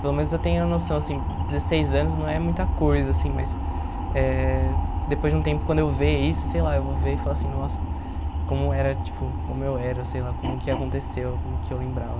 Pelo menos eu tenho a noção, assim, dezesseis anos não é muita coisa, assim, mas eh depois de um tempo quando eu ver isso, sei lá, eu vou ver e falar assim, nossa, como era, tipo, como eu era, sei lá, como que aconteceu, como que eu lembrava.